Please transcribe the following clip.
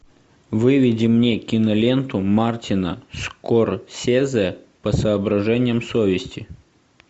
выведи мне киноленту мартина скорсезе по соображениям совести